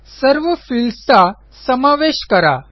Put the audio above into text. सर्व फील्ड्स चा समावेश करा